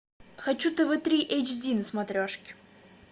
хочу тв три эйч ди на смотрешки